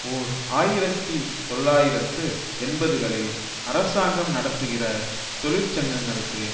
ஓர் ஆயிரத்தி தொள்ளாயிரத்து எண்பதுகளில் அரசாங்கம் நடத்துகிற தொழிற்சங்கங்களுக்கு